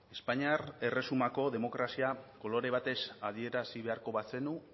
espainiar erresumako demokrazia kolore batez adierazi beharko bazenu